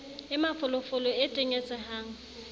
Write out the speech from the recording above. e mafolo folo e tenyetsehang